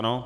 Ano.